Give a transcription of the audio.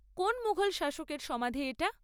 কোন মুঘল শাসকের সমাধি এটা?